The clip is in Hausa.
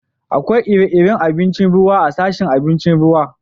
Akwai ire-iren abincin ruwa a'sashin abincin ruwa.